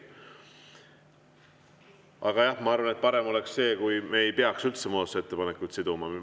Aga jah, ma arvan, et parem oleks see, kui me ei peaks üldse muudatusettepanekuid siduma.